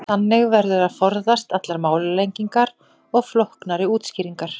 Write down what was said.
þannig verður að forðast allar málalengingar og flóknari útskýringar